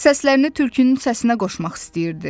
Səslərini tülkünün səsinə qoşmaq istəyirdi.